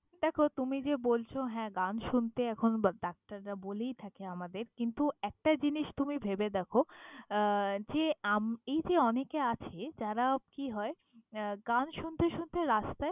দ্যাখো, তুমি যে বলছ হ্যাঁ, গান শুনতে এখন দরকার। ডাক্তাররা বলেই থাকে আমাদের, কিন্তু একটা জিনিস তুমি ভেবে দ্যাখো আহ যে আম~ এই যে অনেকে আছে যারা কি হয় গান শুনতে শুনতে রাস্তায়।